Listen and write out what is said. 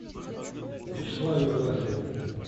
вячеславе власове